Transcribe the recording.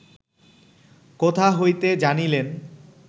কোথা হইতে জানিলেন